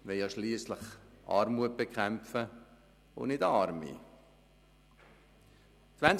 Wir wollen schliesslich die Armut bekämpfen und nicht die Armen.